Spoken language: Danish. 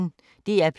DR P1